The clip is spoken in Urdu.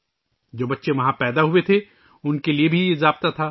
وہاں جو بچے پیدا ہوئے ، ان کے لئے بھی یہی اصول تھا